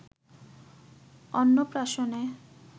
অন্নপ্রাশনে